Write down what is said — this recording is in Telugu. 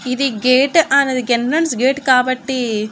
ఇది గెట్ అనేది ఎంట్రన్స్ గేట్ కాబట్టి.